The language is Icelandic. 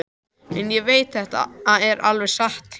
En ég veit þetta er alveg satt hjá